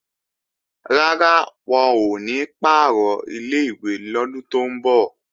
Rárá, wọn ò ní pàrọ̀ ilé-ìwé lọ́dún tó ń bọ̀